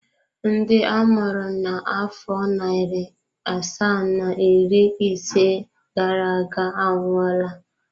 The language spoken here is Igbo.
Ndị a mụrụ na afọ narị asaa na iri ise gara aga anwụọla.